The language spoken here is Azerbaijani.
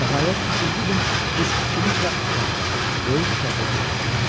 Nəhayət, üçüncü gün biz ikimiz də aşağıda, böyük otaqda görüşdük.